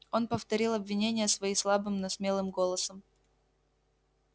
он повторил обвинения свои слабым но смелым голосом